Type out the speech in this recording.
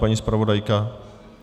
Paní zpravodajka?